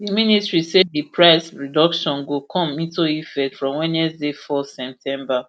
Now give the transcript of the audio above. di ministry say di price reduction go come into effect from wednesday four september